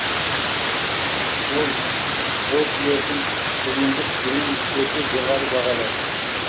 ол бодлердің зұлымдық гүлін өте жоғары бағалады